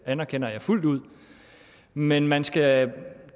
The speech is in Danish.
anerkender jeg fuldt ud men man skal